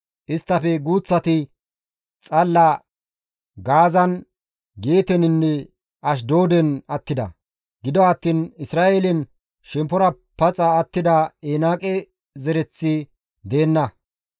Isttafe guuththati xalla Gaazan, Geeteninne Ashdooden attida; gido attiin Isra7eelen shemppora paxa attida Enaaqe zereththi deenna.